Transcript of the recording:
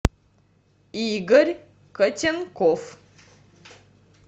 игорь котенков